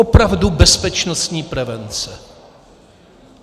Opravdu bezpečnostní prevence.